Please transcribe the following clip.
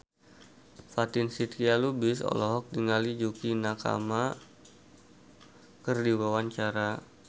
Fatin Shidqia Lubis olohok ningali Yukie Nakama keur diwawancara